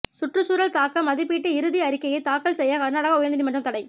சுற்றுச்சூழல் தாக்க மதிப்பீட்டு இறுதி அறிக்கையை தாக்கல் செய்ய கர்நாடக உயர்நீதிமன்றம் தடை